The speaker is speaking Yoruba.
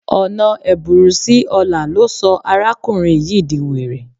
Ọ̀nà ẹ̀bùrú sí ọlà ló sọ arákùnrin yìí di were